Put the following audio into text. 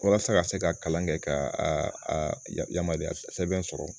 Walasa ka se ka kalan kɛ ka a yamariya sɛbɛn sɔrɔ